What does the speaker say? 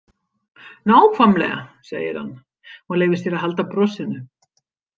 Nákvæmlega, segir hann og leyfir sér að halda brosinu.